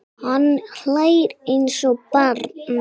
Hann hlær eins og barn.